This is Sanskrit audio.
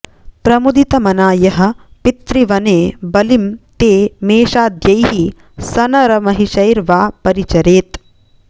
प्रमुदितमना यः पितृवने बलिं ते मेषाद्यैः सनरमहिषैर्वा परिचरेत्